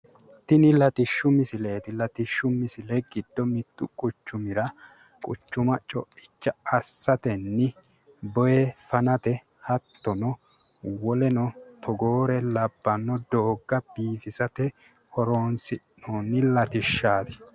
Tini latishshu misileeti. latishshu misile giddo mittu quchumira quchuma coicha assatenno boyee fanate hattono woleno togoore labbanno dooga biifisate horonsi'noonni latishshaati.